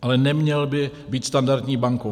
Ale neměl by být standardní bankou.